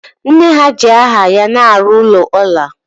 Nne ha ji aha ya na-arụ ụlọ ọla